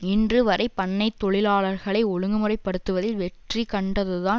இன்று வரை பண்ணை தொழிலாளர்களை ஒழுங்குமுறைபடுத்துவதில் வெற்றி கண்டதுதான்